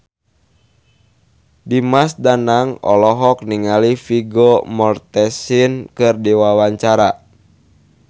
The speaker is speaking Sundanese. Dimas Danang olohok ningali Vigo Mortensen keur diwawancara